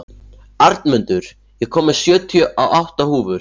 Arnmundur, ég kom með sjötíu og átta húfur!